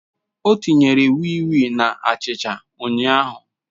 O tinyere wii wii na achicha ụnyahụ